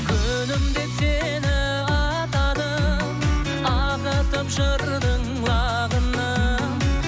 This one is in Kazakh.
күнім деп сені атадым ағытып жырдың ағынын